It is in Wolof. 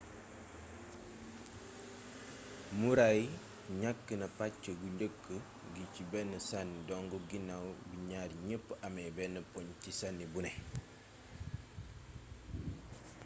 murray ñakk na pacc gu njëkk gi ci benn sanni dong ginnaw bi ñaar ñepp amé benn poñ ci sanni buné